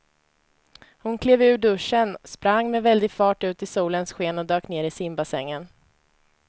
Hon klev ur duschen, sprang med väldig fart ut i solens sken och dök ner i simbassängen.